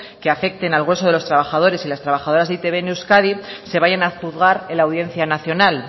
que afecten al grueso de los trabajadores y las trabajadoras de e i te be en euskadi se vayan a juzgar en la audiencia nacional